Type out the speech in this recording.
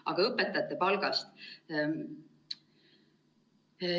Aga õpetajate palgast.